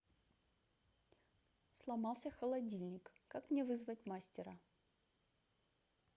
сломался холодильник как мне вызвать мастера